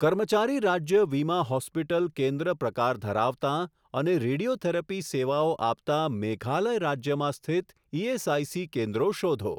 કર્મચારી રાજ્ય વીમા હોસ્પિટલ કેન્દ્ર પ્રકાર ધરાવતાં અને રેડિયોથેરપી સેવાઓ આપતાં મેઘાલય રાજ્યમાં સ્થિત ઇએસઆઇસી કેન્દ્રો શોધો.